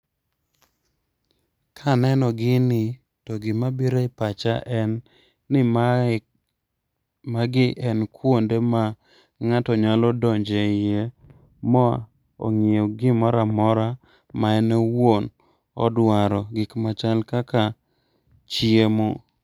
Kaneno gini, to gima biro e pacha en ni mae magi en kuonde ma ng'ato nyalo donje iye ma ong'iew gimoramora ma en owuon odwaro. Gik machal kaka chiemo.